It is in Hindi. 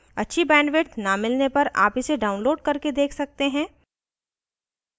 अच्छी bandwidth न मिलने पर आप इसे download करके देख सकते हैं